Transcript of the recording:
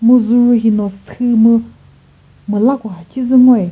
mu züru hino sü mu müla ko kha shizü ngoyi.